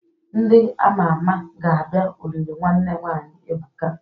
Ndị ama ama ga-abia olili nwanne nwanyi Ebuka.